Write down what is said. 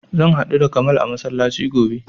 Zan haɗu da kamal a masallaci gobe